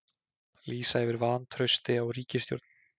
Lýsa yfir vantrausti á ríkisstjórn